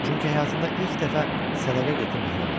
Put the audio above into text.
Çünki həyatında ilk dəfə sədəqə götürməli olurdu.